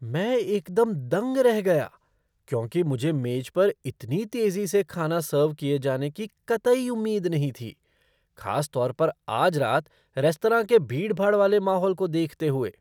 मैं एकदम दंग रह गया क्योंकि मुझे मेज पर इतनी तेजी से खाना सर्व किए जाने की कतई उम्मीद नहीं थी, खास तौर पर आज रात रेस्तरां के भीड़ भाड़ वाले माहौल को देखते हुए।